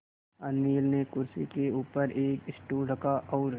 अनिल ने कुर्सी के ऊपर एक स्टूल रखा और